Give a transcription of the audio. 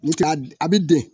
Nka a bɛ den